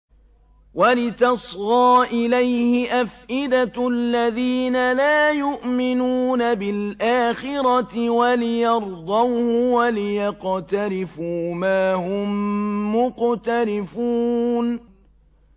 وَلِتَصْغَىٰ إِلَيْهِ أَفْئِدَةُ الَّذِينَ لَا يُؤْمِنُونَ بِالْآخِرَةِ وَلِيَرْضَوْهُ وَلِيَقْتَرِفُوا مَا هُم مُّقْتَرِفُونَ